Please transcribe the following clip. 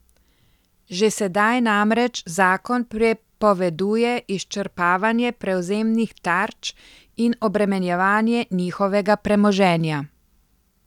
Že sedaj namreč zakon prepoveduje izčrpavanje prevzemnih tarč in obremenjevanje njihovega premoženja.